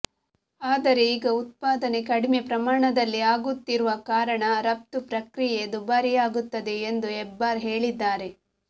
ಆದರೆ ಈಗ ಉತ್ಪಾದನೆ ಕಡಿಮೆ ಪ್ರಮಾಣದಲ್ಲಿ ಆಗುತ್ತಿರುವ ಕಾರಣ ರಫ್ತು ಪ್ರಕ್ರಿಯೆ ದುಬಾರಿಯಾಗುತ್ತದೆ ಎಂದು ಹೆಬ್ಬಾರ್ ಹೇಳಿದ್ದಾರೆ